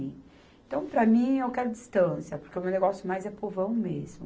Então, para mim, eu quero distância, porque o meu negócio mais é povão mesmo.